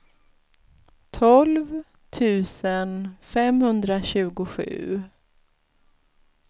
tolv tusen femhundratjugosju